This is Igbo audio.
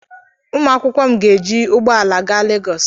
Ụmụ akwụkwọ m ga-eji ụgbọala aga Legọs.